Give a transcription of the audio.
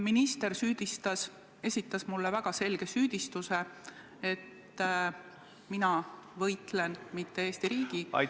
Minister esitas mulle väga selge süüdistuse, et mina ei võitle mitte Eesti riigi, vaid kellegi teise eest ...